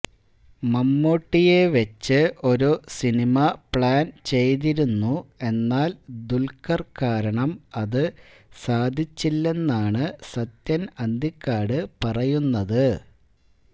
മമ്മൂട്ടിയെ വച്ച് ഒരു സിനിമ പ്ലാൻ ചെയ്തിരുന്നു എന്നാൽ ദുൽഖർ കാരണം അത് സാധിച്ചില്ലെന്നാണ് സത്യന് അന്തിക്കാട് പറയുന്നത്